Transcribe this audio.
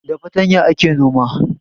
Da fartanya ake noma